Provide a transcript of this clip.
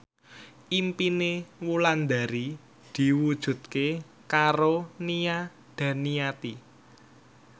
impine Wulandari diwujudke karo Nia Daniati